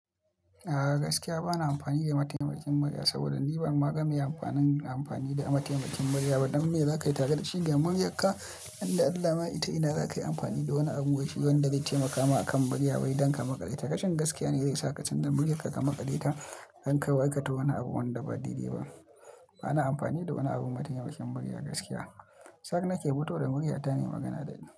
A'a gaskiya bana amfani da mataimakin murya saboda ni ban ma ga meye amfani da mataimakin murya ba. Dan me za ka yi tare da shi ga muryar ka? Inda Allah ma ita ina za ka yi amfani da wani abun waishi wanda zai taimaka ma akan murya wai dankama ƙale. Ta rashin gaskiya ne zai sa ka can ja murya ka, ka maƙale ta don kawai aikata wani abu wanda ba dai, dai ba. Bana amfani da wani abu mataimakin murya gaskiya. Tsar nake fito da murya ta nayi magana da ita.